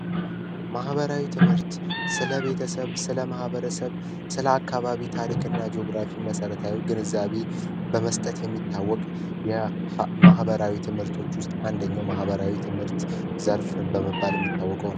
ማህበራዊ ትምህርት ስለቤተሰብ፣ ስለማህበረሰ፣ ስለአካባቢ ታሪክና ጅኦግራፊ መሰረታዊ ግንዛቤ በመስጠት የሚታዎቅ፤ የማህበራዊ ትምህርቶች ዉስጥ አንደኛው ማህበራዊ ትምህርት ዘርፍ በመባል የሚታዎቀው ነው።